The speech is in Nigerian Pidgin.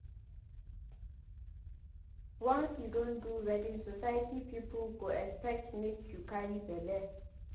Once you don do wedding society pipu go expect make you carry belle.